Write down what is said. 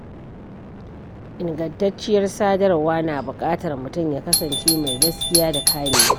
Ingantacciyar sadarwa na buƙatar mutum ya kasance mai gaskiya da kamewa.